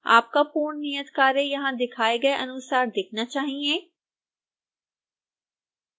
आपका पूर्ण नियतकार्य यहां दिखाए गए अनुसार दिखना चाहिए